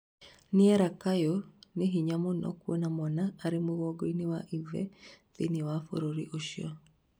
nĩera kayũ nĩ hinya mũno kũona mwana arĩ mũgongo wa ithe thĩinĩ wa bũrũri ucio